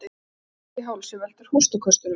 Erting í hálsi veldur hóstaköstunum.